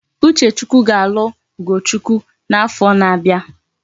Uchechukwu ga alu ugochukwu na afo na abia